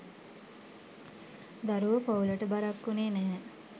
දරුවො පවුලට බරක් වුණේ නැහැ